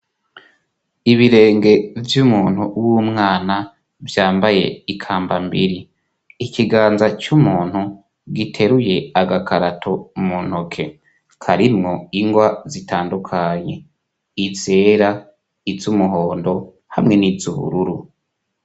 Ibirenge vy'umuntu w'umwana vyambaye ikambambiri ikiganza c'umuntu giteruye agakarato mu ntoke karimwo ingwa zitandukanye izera izo umuhondo hamwe n'izo ubururu.